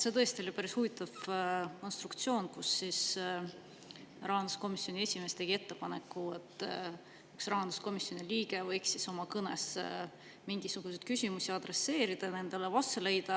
See tõesti oli päris huvitav konstruktsioon, kui rahanduskomisjoni esimees tegi ettepaneku, et üks rahanduskomisjoni liige võiks oma kõnes mingisuguseid küsimusi adresseerida ja nendele vastused leida.